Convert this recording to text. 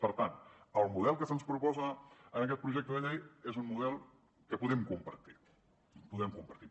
per tant el model que se’ns proposa en aquest projecte de llei és un model que podem compartir podem compartir